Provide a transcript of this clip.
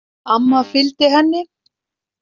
Amma fylgdi henni.